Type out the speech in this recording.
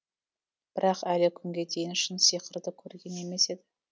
бірақ әлі күнге дейін шын сиқырды көрген емес еді